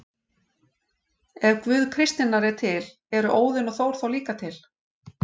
Ef Guð kristninnar er til, eru Óðinn og Þór þá líka til?